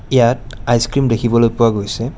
ইয়াত ice cream দেখিবলৈ পোৱা গৈছে।